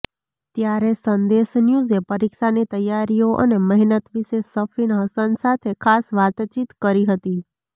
ત્યારે સંદેશ ન્યૂઝે પરીક્ષાની તૈયારીઓ અને મહેનત વિશે સફીન હસન સાથે ખાસ વાતચીત કરી હતી